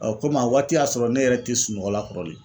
komi a waati y'a sɔrɔ ne yɛrɛ ti sunɔgɔla kɔrɔlen.